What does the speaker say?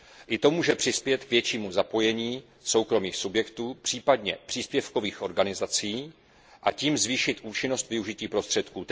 I to může přispět k většímu zapojení soukromých subjektů, případně příspěvkových organizací, a tím ke zvýšení účinnosti využití prostředků.